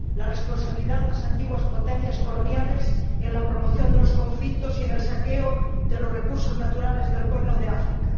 la responsabilidad de las antiguas potencias coloniales en la promoción de los conflictos y en el saqueo de los recursos naturales del Cuerno de África